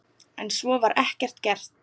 En svo var ekki gert.